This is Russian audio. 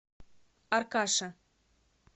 аркаше